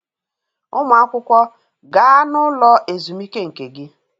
Ụmụ akwụkwọ, gaa n'ụlọ ezumike nke gị.